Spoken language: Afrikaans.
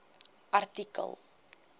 artikel